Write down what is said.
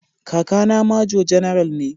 Kakana Major General ne.